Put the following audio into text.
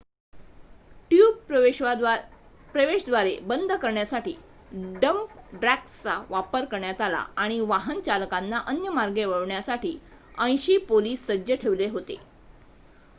tube प्रवेशद्वारे बंद करण्यासाठी डंप ट्रक्सचा वापर करण्यात आला आणि वाहन चालकांना अन्य मार्गे वळवण्यासाठी 80 पोलिस सज्ज ठेवले होते